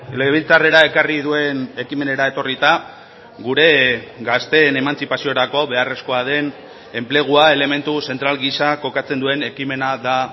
legebiltzarrera ekarri duen ekimenera etorrita gure gazteen emantzipaziorako beharrezkoa den enplegua elementu zentral gisa kokatzen duen ekimena da